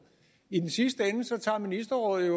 i den sidste ende tager ministerrådet